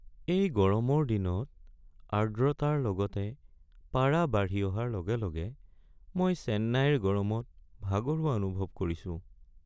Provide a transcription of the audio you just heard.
এই গৰমৰ দিনত আৰ্দ্ৰতাৰ লগতে পাৰা বাঢ়ি অহাৰ লগে লগে মই চেন্নাইৰ গৰমত ভাগৰুৱা অনুভৱ কৰিছো।